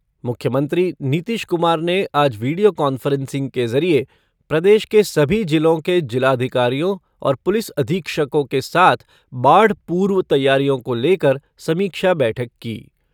मुख्यमंत्री नीतीश कुमार ने आज वीडियो कांफ़्रेंसिंग के ज़रिये प्रदेश के सभी जिलों के जिलाधिकारियों और पुलिस अधीक्षकों के साथ बाढ़ पूर्व तैयारियों को लेकर समीक्षा बैठक की।